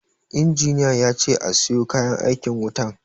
Injiniya yace a siyo kayan aikin wutan